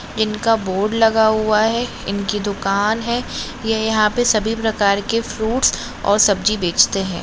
इनका बोर्ड लगा हुआ है इनकी दुकान है ये यहाँ पे सभी प्रकार के फ्रूट्स और सब्जी बेचते है।